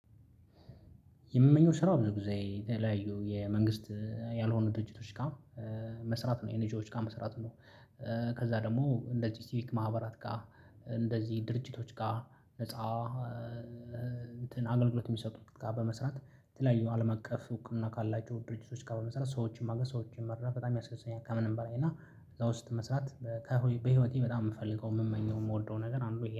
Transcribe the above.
የምመኘው ስራ ብዙ ጊዜ የተለያዩ የመንግስት ያልሆኑ ድርጅቶች ጋር መስራት ነው ኤንጂዎች ጋር መስራት ነው። ከዛ ደግሞ እንደዚህ ሲቪክ ማህበራት ጋር እንደዚህ ድርጅቶች ጋር ነፃ እንትን አገልግሎት የሚሰጡት ጋር በመስራት ተለያዩ አለም አቀፍ እውቅና ካላቸው ድርጅቶች ጋር በመስራት ሰዎችን ማገዝ ሰዎችን መረዳት በጣም ያስደስተኛል። ከምንም በላይ እና እዛ ውስጥ መስራት ከ በህይወቴ በጣም የምፈልገው የምመኘው የምወደው ነገር አንዱ